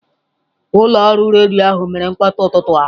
Ụlọ ọrụ redio ahụ mere mkpọtụ n'ụtụtụ a.